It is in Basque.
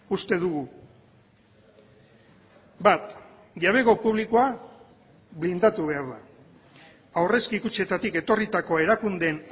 uste dugu bat jabego publikoa blindatu behar da aurrezki kutxetatik etorritako erakundeen